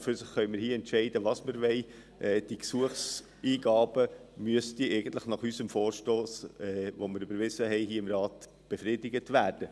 An und für sich können wir hier entscheiden was wir wollen, die Gesuchseingaben müssten eigentlich nach unserem Vorstoss, den wir hier im Rat überwiesen haben , befriedigt werden.